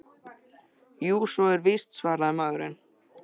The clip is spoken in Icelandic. Jú, svo er víst- svaraði maðurinn.